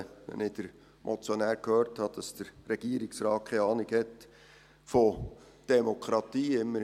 Wenn ich den Motionär gehört habe, dass der Regierungsrat keine Ahnung von Demokratie habe: